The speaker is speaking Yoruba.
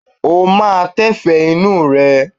Ó máa tẹ́fẹ̀ẹ́ inú rẹ?